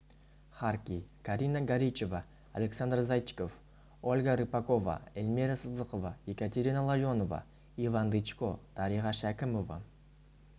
харки карина горичева александр зайчиков ольга рыпакова эльмира сыздықова екатерина ларионова иван дычко дариға шәкімова